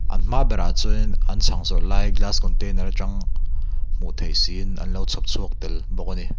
an hma berah chuanin an chhang zawrh lai glass container atang hmuh theih siin an lo chhawpchhuak tel bawk a ni.